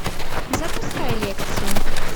запускай лекцию